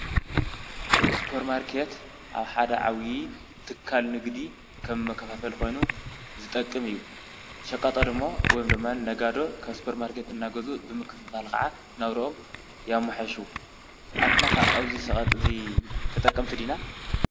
ሱፐርማርኬት ኣብ ሓደ ዓብዩ ትካል ንግዲ ከም መከፋፈሊ ኮይኑ ዝጠቅም እዩ ሸቃጦ ድማ ወይ ነጋዶ ካብ ሱፐርማርኬት እናገዝኡ ብምክፍፋል ከዓ ናብረኦም የመሓይሹ ኣንሕናከ ኣብዚ ሸቅጥ እዚ ተጠቀምቲ ዲና ?